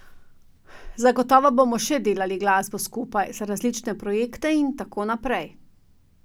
Zagotovo bomo še delali glasbo skupaj, za različne projekte in tako naprej.